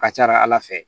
A ka ca ala fɛ